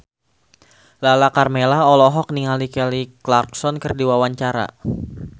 Lala Karmela olohok ningali Kelly Clarkson keur diwawancara